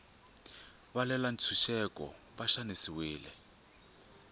valwela ntshuxeko va xanisiwile